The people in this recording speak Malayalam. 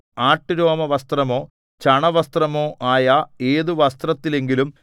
ആട്ടുരോമവസ്ത്രമോ ചണവസ്ത്രമോ ആയ ഏതു വസ്ത്രത്തിലെങ്കിലും